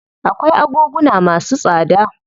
Akwai agoguna masu tsada.